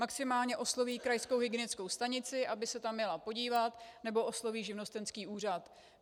Maximálně osloví krajskou hygienickou stanici, aby se tam jela podívat, nebo osloví živnostenský úřad.